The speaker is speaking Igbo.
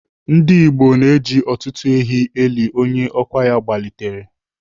Ndigbo na-eji ọtụtụ ehi elu onye ọkwa ya gbalitere.